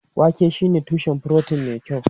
Wake shine tushen furotin mai kyau.